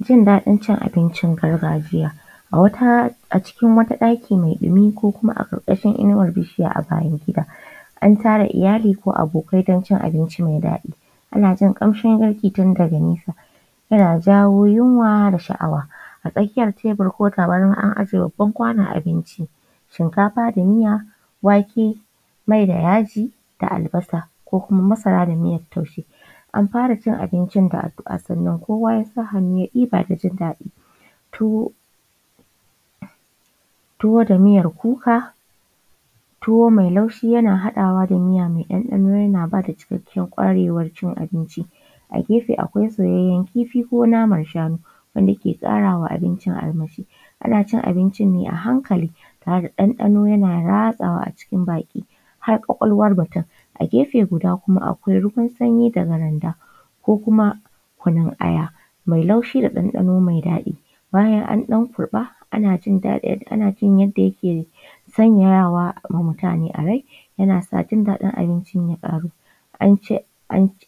Jin daɗin cin abin gargajiya. A wata a cikin wata ɗaki mai ɗumi ko kuma a ƙarƙashin wata inuwar bishiya a bayan gida, an tara iyali ko abokai don cin abinci mai daɗi. Ana jin ƙamshin yaji tun daga nesa yana jawo yunwa da sha’awa a tsakiyar tebur ko tabarma an ajiye babbar kwanon abinci, shinkafa da miya, wake, mai da yaji da albasa ko kuma masara da miyar taushe. An fara cin abincin da addu’a sannan kowa ya sa hannu ya ɗiba da jindaɗi tuwo tuwo da miyar kuka, tuwo mai laushi yana haɗawa da ɗanɗano yana bada cikakken ƙwarewar cin abinci, a gefe akwai soyayyar kifi ko naman shanu wanda yake ƙarawa abincin armashi. Ana cin abincin ne a hankali tare da ɗanɗano yana ratsawa a cikin baki har ƙwaƙwalwar mutum, a gefe guda kuma akwai ruwan sanyi daga randa ko kuma kunun aya mai laushi da ɗanɗano mai daɗi, bayan an ɗan kurɓa ana jin yadda yake sanyayawa mutane a rai yana sanyawa jin daɗi abincin ya ƙaru an ce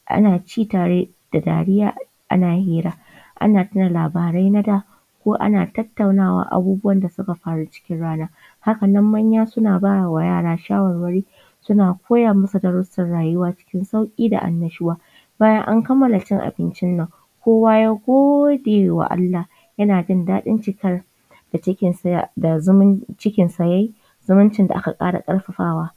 ana ci tare da dariya ana hira ana tuna labarai na da ko ana tattaunawa abubuwan da suka faru cikin rana. Hakanan nan manya suna bawa yara shawarwari suna koya masu darussan rayuwa cikin sauƙi da annashuwa. Bayan an kamala cin abincin nan kowa ya gode wa Allah yana jin daɗin cikar da cikin sa da zumun da cikin sa ya yi zumuncin da aka ƙara ƙarfafawa.